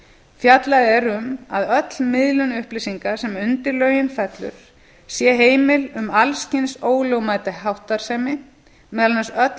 fjallað er um að öll miðlun upplýsinga sem undir lögin fellur sé heimil um alls kyns ólögmæta háttsemi meðal annars öll